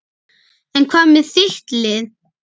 En hvað með þitt lið?